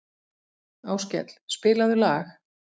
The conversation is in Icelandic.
Áskell, spilaðu lag.